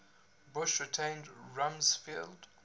bush retained rumsfeld